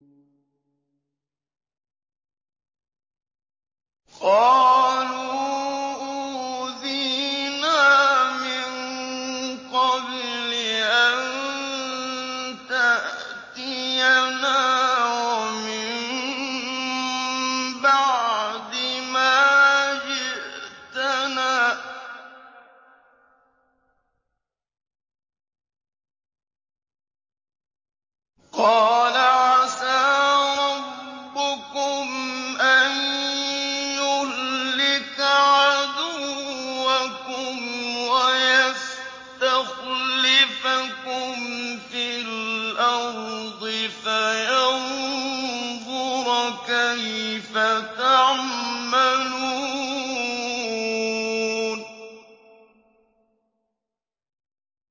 قَالُوا أُوذِينَا مِن قَبْلِ أَن تَأْتِيَنَا وَمِن بَعْدِ مَا جِئْتَنَا ۚ قَالَ عَسَىٰ رَبُّكُمْ أَن يُهْلِكَ عَدُوَّكُمْ وَيَسْتَخْلِفَكُمْ فِي الْأَرْضِ فَيَنظُرَ كَيْفَ تَعْمَلُونَ